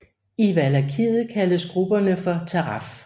I Valakiet kaldes grupperne for Taraf